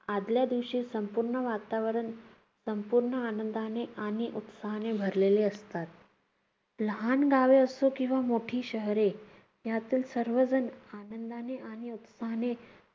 आदल्या दिवशी संपूर्ण वातावरण, संपूर्ण आनंदाने आणि उत्साहाने भरलेली असतात. लहान गावे असतो किंवा मोठी शहरे, यातील सर्व जण आनंदाने आणि उत्साहाने